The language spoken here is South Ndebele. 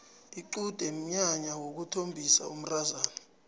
iqude mnyanya wokuthombisa umntazana